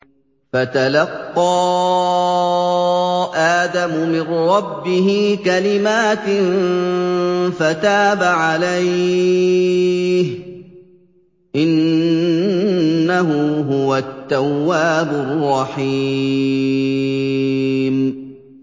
فَتَلَقَّىٰ آدَمُ مِن رَّبِّهِ كَلِمَاتٍ فَتَابَ عَلَيْهِ ۚ إِنَّهُ هُوَ التَّوَّابُ الرَّحِيمُ